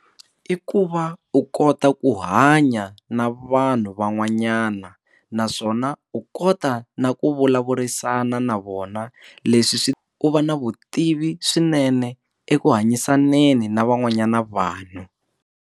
I ku va u kota ku hanya na vanhu van'wanyana naswona u kota na ku vulavurisana na vona leswi swi u va na vutivi swinene eku hanyisaneni na van'wanyana vanhu.